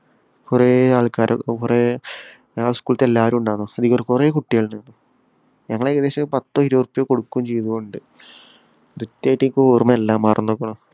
കൊറേ ആള്‍ക്കാര് കൊറേ ആ school ഇലത്തെ എല്ലാരും ഉണ്ടാര്ന്നു. കൊറേ കുട്ടികള്. ഞങ്ങള് ഏകദേശം പത്തൊ ഇരുപതോ ഉറുപ്പിക കൊടുക്കുകയും ചെയ്യയും ഉണ്ട്. കൃത്യായിട്ട് എനിക്കോര്‍മ്മയില്ല. മറന്നുക്കുണു.